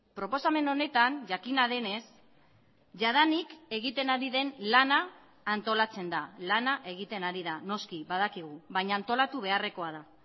proposamen honetan jakina denez jadanik egiten ari den lana antolatzen da lana egiten ari da noski badakigu baina antolatu beharrekoa da